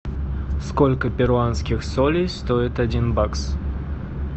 сколько перуанских солей стоит один бакс